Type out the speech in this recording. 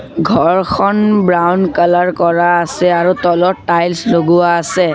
ঘৰখন brown colour কৰা আছে আৰু তলত টাইলছ লগোৱা আছে।